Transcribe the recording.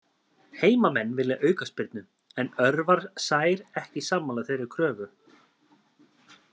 Heimamenn vilja aukaspyrnu, en Örvar Sær ekki sammála þeirri kröfu.